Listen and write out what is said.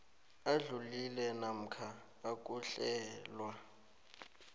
adlulile namkha ukuhlelwa